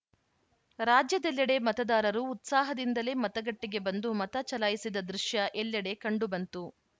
ರಾಜ್ಯದೆಲ್ಲೆಡೆ ಮತದಾರರು ಉತ್ಸಾಹದಿಂದಲೇ ಮತಗಟ್ಟೆಗೆ ಬಂದು ಮತ ಚಲಾಯಿಸಿದ ದೃಶ್ಯ ಎಲ್ಲೆಡೆ ಕಂಡುಬಂತು